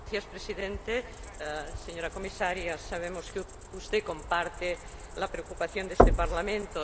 Señor Presidente, señora Comisaria, sabemos que usted comparte la preocupación de este Parlamento.